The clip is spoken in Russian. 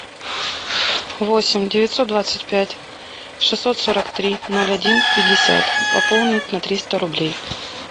восемь девятьсот двадцать пять шестьсот сорок три ноль один пятьдесят пополнить на триста рублей